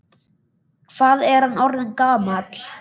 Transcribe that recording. Hvað er hann orðinn gamall?